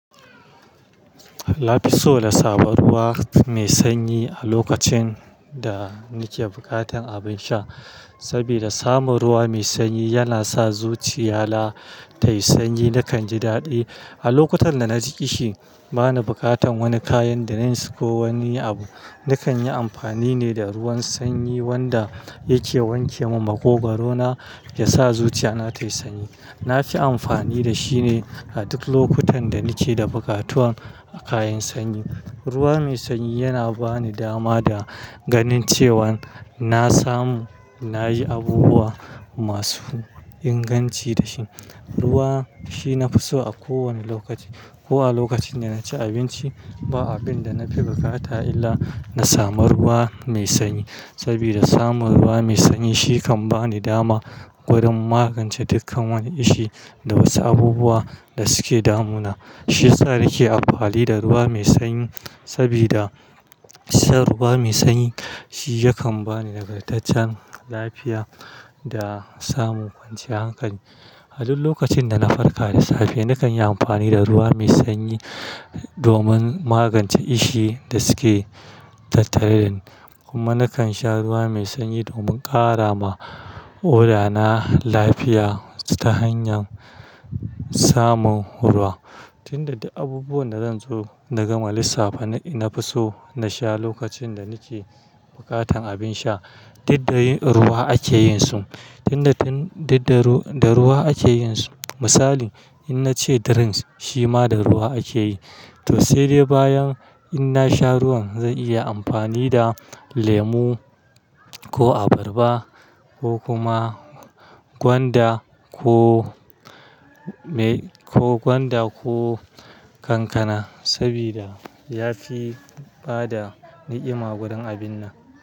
Nafi so na samu ruwa mai sanyi a lokacin da nike bukatan abin sha. Sabida samun ruwa mai sanyi yana sa zuciya na tayi sanyi. Nakan ji daɗi a lokutan da naji ƙishi, bana bukatan wani kayan drinks ko wani abu. Nakan yi amfani ne da ruwan sanyi wanda yake wanke min magogaro na, ya sa zuciya na tayi sanyi. Nafi amfani da shi ne a duk lokutan da nike da bukatuwan a kayan sanyi. Ruwa mai sanyi yana bani dama da ganin cewan na samu, nayi abubuwa masu inganci da shi. Ruwa shi nafi so a kowane lokaci, ko a lokacin da naci abinci, ba abin da na fi bukata illa na samu ruwa mai sanyi. Sabida samun ruwa mai sanyi shi kan bani dama wurin magance dukkan wani ƙishi da wasu abubuwa da suke damuna. Shiyasa nake amfani da ruwa mai sanyi saboda shar ruwa mai sanyi shi yakan bani nagartaccen lafiya da samun kwanciyar hankali. A duk lokacin da na farka da safe, nakan yi amfani da ruwa mai sanyi domin magance ƙishi da suke tattare ni. Kuma nakan sha ruwa mai sanyi domin ƙara ma ƙodana lafiya ta hanyar samun ruwa. Tun da duk abubuwan da zan so nagama lisaffa, nafiso na sha lokacin da nike bukatan abin sha. Duk da dai ruwa ake yin su, tun da, tun da da ruwa ake yin su. Misali in nace drinks shima da ruwa akeyi. To sai dai bayan in nasha ruwan zan iya amfani da lemu ko abarba ko kuma gwanda ko mai, ko gwanda ko kankana. Saboda ya fi bada ni'ima wurin abin nan.